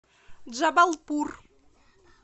джабалпур